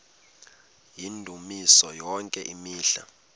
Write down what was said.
yendumiso yonke imihla